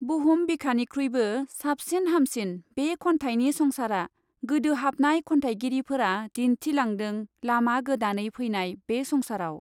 बुहुम बिखानिख्रुइबो साबसिन हामसिन बे खन्थाइनि संसारा, गोदोहाबनाय खन्थाइगिरिफ्रा दिन्थिलांदों लामा गोदानै फैनाय बे संसाराव।